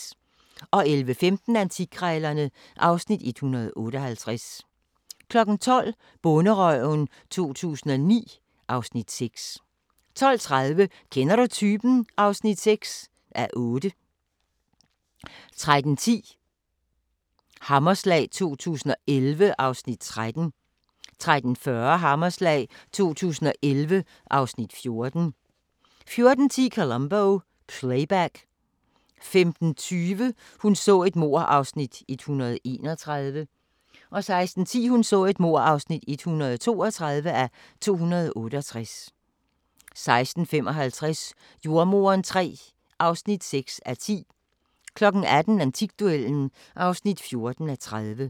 11:15: Antikkrejlerne (Afs. 158) 12:00: Bonderøven 2009 (Afs. 6) 12:30: Kender du typen? (6:8) 13:10: Hammerslag 2011 (Afs. 13) 13:40: Hammerslag 2011 (Afs. 14) 14:10: Columbo: Playback 15:25: Hun så et mord (131:268) 16:10: Hun så et mord (132:268) 16:55: Jordemoderen III (6:10) 18:00: Antikduellen (14:30)